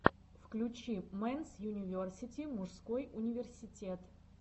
включи мэнс юниверсити мужской университет